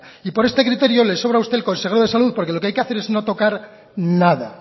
y por este criterio le sobran a usted el consejero de salud porque lo que hay que hacer es precisamente nada